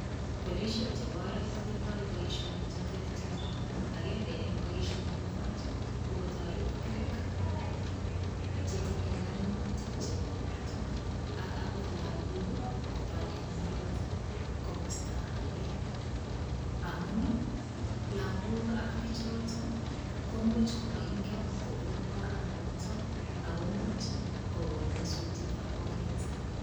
Polishek chebo oret kotindoi boishonik cheterter agenge eng' boishonik kwak kokotoret biik chetinyei kaimutik chebo borto ak akot lakok koba eng' oret komosta age amun lakok ak bichoto ko muuch komaingen kobun oranoto akomuch kokon nyosutietab oret